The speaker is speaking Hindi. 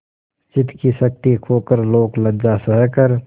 चित्त की शक्ति खोकर लोकलज्जा सहकर